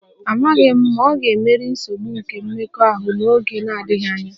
Amaghị m ma ọ ga-emeri nsogbu nke mmekọahụ n'oge na-adịghị anya